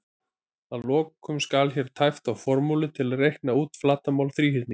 Að lokum skal hér tæpt á formúlu til að reikna út flatarmál þríhyrnings: